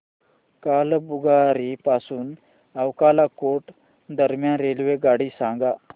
कालाबुरागी पासून अक्कलकोट दरम्यान रेल्वेगाडी सांगा